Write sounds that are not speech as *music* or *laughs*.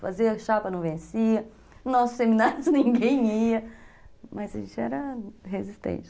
Fazer a chapa não vencia, *laughs* nossos seminários ninguém ia, mas a gente era resistente.